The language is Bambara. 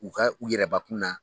U ka u yɛrɛ bakun na.